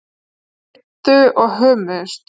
Sleiktu og hömuðust.